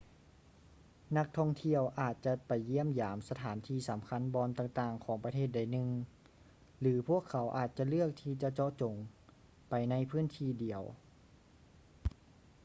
ນັກທ່ອງທ່ຽວອາດຈະໄປຢ້ຽມຢາມສະຖານທີ່ສຳຄັນບ່ອນຕ່າງໆຂອງປະເທດໃດໜຶ່ງ ຫຼື ພວກເຂົາອາດຈະເລືອກທີ່ຈະເຈາະຈົງໄປໃນພື້ນທີ່ດຽວ